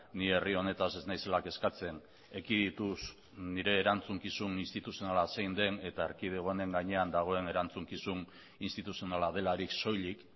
ni herri honetaz ez naizela kezkatzen ekidituz nire erantzukizun instituzionala zein den eta erkidego honen gainean dagoen erantzukizun instituzionala delarik soilik